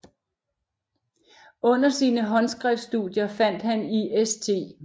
Under sine håndskriftstudier fandt han i St